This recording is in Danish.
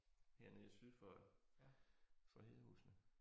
Hernede for syd for for Hedehusene